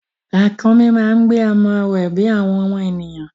Ràkúnmí máa ń gbé ọmọ rẹ bí àwọn ènìyàn.